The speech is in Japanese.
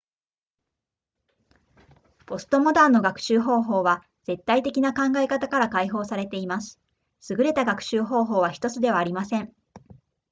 ポストモダンの学習方法は絶対的な考え方から解放されています優れた学習方法は1つではありません